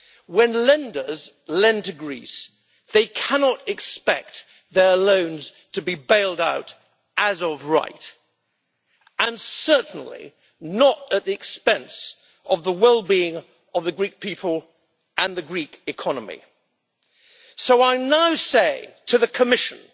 When lenders lend to Greece, they cannot expect their loans to be bailed out as of right, and certainly not at the expense of the well being of the Greek people and the Greek economy. So, in response to the Commission,